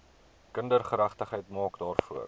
kindergeregtigheid maak daarvoor